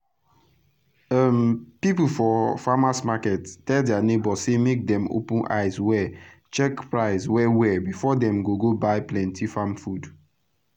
um pipu for framers market tell dia neighbor say make dem open eyes check price well well before dem go go buy plenty farm fud